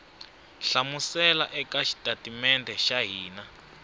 hlamusela eka xitatimede xa hina